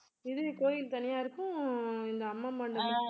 இது கோயில் தனியாருக்கும் இந்த அம்மா மண்டபம்